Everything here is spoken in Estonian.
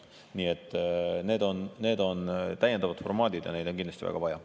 Nii et need on täiendavad formaadid ja neid on kindlasti väga vaja.